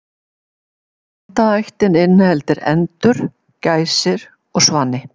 Andaættin inniheldur endur, gæsir og svani.